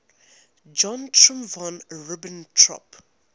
joachim von ribbentrop